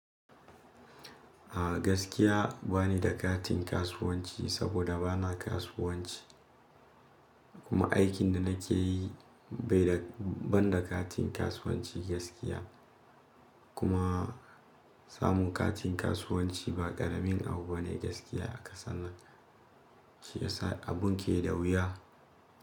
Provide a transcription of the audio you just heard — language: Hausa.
A gaskiya bani da katin kasuwanci saboda bana kasuwanci kuma aikin da nake yi bai da, ban da katin kasuwanci gaskiya. Kuma samun katin kasuwanci ba ƙaramin abu bane gaskiya a ƙasar nan, shi yasa abun ke da wuya.